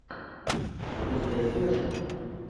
запускай слэшер